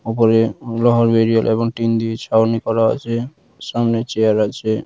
উপরে টিন দিয়ে ছাউনি করা আছে সামনে চেয়ার আছে।